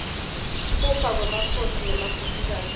kufa kwemakhosi nemakhosikati